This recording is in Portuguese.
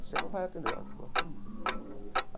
Você não vai atender, ah eu vou atender.